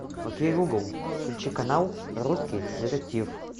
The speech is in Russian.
окей гугл включи канал русский детектив